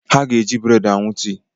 Ha ga-eji buredi aṅụ tii